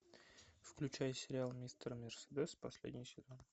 включай сериал мистер мерседес последний сезон